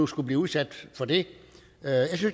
skulle blive udsat for det